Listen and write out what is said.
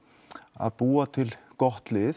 að búa til gott lið